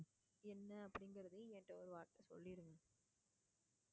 என்ன அப்படிங்குறது என்கிட்ட ஒரு வார்த்தை சொல்லிருங்க.